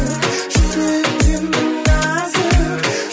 жүрегің сенің нәзік